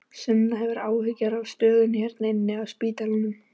Sunna: Hefurðu áhyggjur af stöðunni hérna inni á spítalanum?